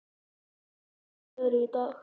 Sigurlaug, hvernig er veðrið í dag?